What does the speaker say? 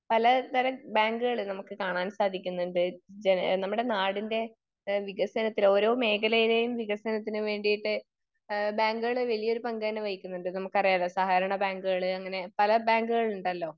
പല തരം ബാങ്കുകള് നമുക്ക് കാണാൻ സാധിക്കുന്നുണ്ട്. ജന, നമ്മുടെ നാടിൻ്റെ വികസനത്തിന് ഓരോ മേഖലയിലേയും വികസനത്തിന് വേണ്ടീട്ട് ബാങ്കുകള് വലിയൊരു പങ്ക് തന്നെ വഹിക്കുന്നുണ്ട് നമുക്കറിയാലോ. സഹകരണ ബാങ്കുകള് അങ്ങിനെ പല ബാങ്കുകളുണ്ടല്ലോ